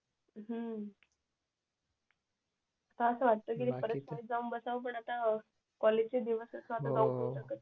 हम्म आताअसं वाटत की परत शाळेत जाऊन बसावं पण आता कॉलेज चे दिवस